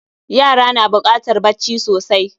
Yara na bukatar bacci sosai